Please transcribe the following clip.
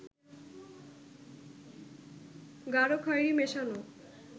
গাঢ় খয়েরি মেশানো